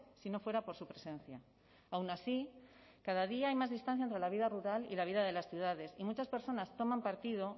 si no fuera por su presencia aun así cada día hay más distancia entre la vida rural y la vida de las ciudades y muchas personas toman partido